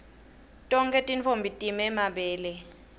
tonkhe tintfombi time mabele